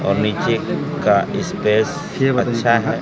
और नीचे का स्पेस अच्छा है।